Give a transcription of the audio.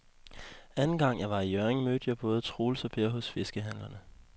Anden gang jeg var i Hjørring, mødte jeg både Troels og Per hos fiskehandlerne.